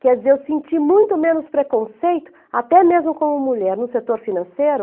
Quer dizer, eu senti muito menos preconceito, até mesmo como mulher, no setor financeiro.